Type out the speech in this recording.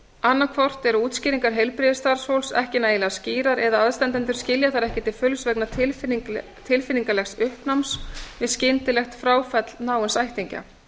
annaðhvort eru útskýringar heilbrigðisstarfsfólks ekki nægilega skýrar eða aðstandendur skilja þær ekki til fulls vegna tilfinningalegs uppnáms við skyndilegt fráfall náins ættingja